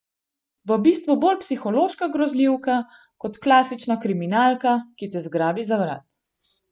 V bistvu bolj psihološka grozljivka kot klasična kriminalka, ki te zgrabi za vrat.